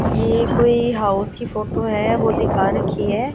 ये कोई हाउस की फोटो है वो दिखा रखी है।